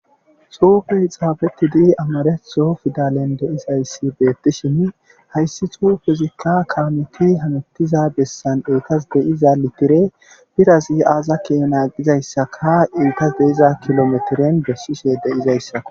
Xuufey xaafettidi amaretho pidalen de7izayssi beettishini hayssi xuufezikka hameettiza bessan etasa di7iza litire biraasa aaza keene gizayssaka enttas de7iza kilometiren bessishe de7izayssako.